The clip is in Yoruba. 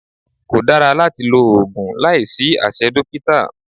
Kò dára láti lo oògùn láìsí àṣẹ dókítà